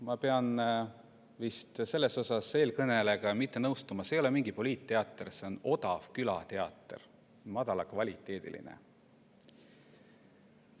Ma pean vist selles osas eelkõnelejaga mitte nõustuma: see ei ole mingi poliitteater, see on odav madalakvaliteediline külateater.